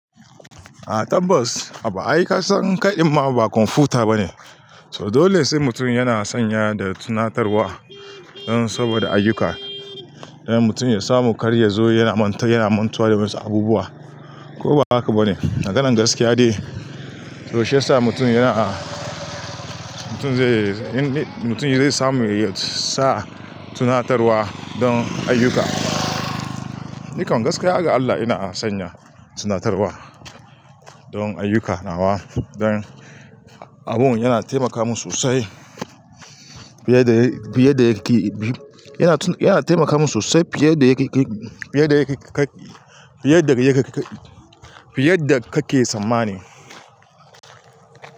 Ah tabbas, haba ai ka san kadin ma ba kwamfuta ba ne. Toh dole sai mutum yana sanya da tunatarwa don saboda ayyuka. Don mutum ya samu karya zo yana mantar yana mantuwa da masu abubuwa. Ko ba haka ba ne? Maganar gaskiya dai. To shiyasa mutum yana, mutum zai, mutum zai samu ya sa tunatarwa don ayyuka. Ni kam gaskiya ga Allah ina sanya tunatarwa don ayyuka nawa don abun yana taimaka min sosai, fiye da, fiye da yake, yana, yana taimaka min sosai fiye da yake, fiye da yake, fiye da yake, fiye da kake samane.